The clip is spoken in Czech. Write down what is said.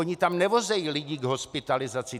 Oni tam nevozí lidi k hospitalizaci.